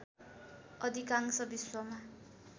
अधिकांश विश्वमा